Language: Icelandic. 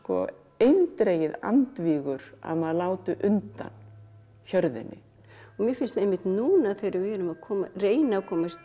eindregið andvígur að maður láti undan hjörðinni mér finnst einmitt núna þegar við erum að reyna að komast